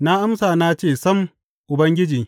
Na amsa na ce, Sam, Ubangiji!